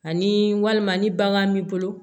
Ani walima ni bagan m'i bolo